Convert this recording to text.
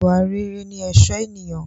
Ìwà rere ní ẹ̀sọ́ ènìyàn